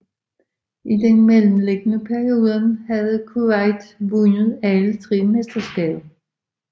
I den mellemliggende periode havde Kuwait vundet alle tre mesterskaber